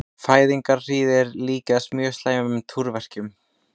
Fæðingarhríðir líkjast mjög slæmum túrverkjum.